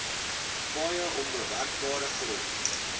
paaie onbewerkbare grond